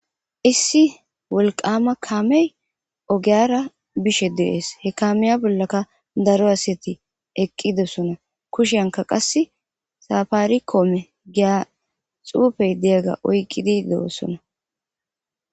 Issi wolqama kamey ogara bishe de'es he kamiya bollaka daro asiy des eqidosona qasi safarikome Giza xufe diyaga oyki di deyosona